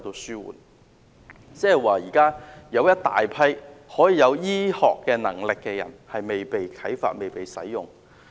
現時有一大群醫學專才卻未被啟發、未被利用。